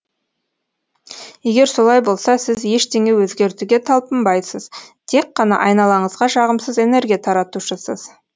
егер солай болса сіз ештеңе өзгертуге талпынбайсыз тек қана айналаңызға жағымсыз энергия таратушысыз